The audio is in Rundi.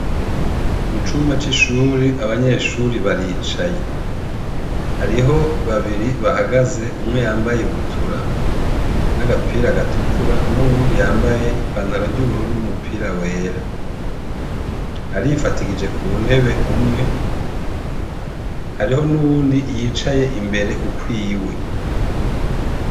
Mucumba c'ishuri abanyeshure baricaye. Hariho babiri bahagaze umwe yambaye ibutura n'agapira gatukura, n'uwundi yambaye inpantaro ry'ubururu n'umupira wera. Arifadikije ku ntebe umwe, hariho n'uwundi yicaye imbere ukwiwe.